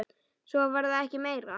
Svo var það ekki meira.